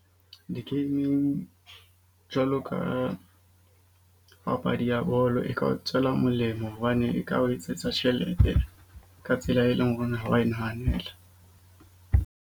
Di-gaming jwalo ka papadi ya bolo e ka o tswela molemo. Hobane e ka o etsetsa tjhelete ka tsela, e leng hore ha wa e nahanela.